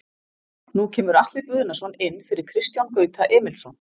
Nú kemur Atli Guðnason inn fyrir Kristján Gauta Emilsson.